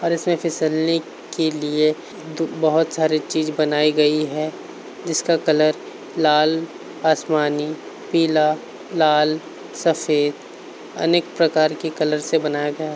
और इसमें फिसलने के लिए बहुत सारी चीज बनाई गई है। जिसका कलर लाल आसमानी पीला लालसफेद अनेक प्रकार के कलर से बनाया गया है।